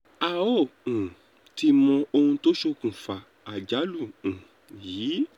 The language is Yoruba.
a ò um tí ì mọ ohun tó ṣokùnfà àjálù um yìí